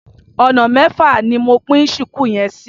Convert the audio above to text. Ọ̀nà mẹ́fà ni mo pín ṣùkú yẹn sí.